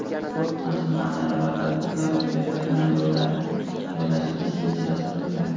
sport majmualari va tadbirlar o‘tkaziladigan joylarni joylashtirish rejalashtirilgan.